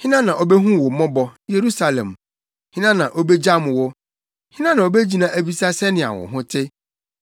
“Hena na obehu wo mmɔbɔ, Yerusalem? Hena na obegyam wo? Hena na obegyina abisa sɛnea wo ho te?